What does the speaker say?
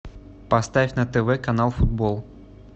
поставь на тв канал футбол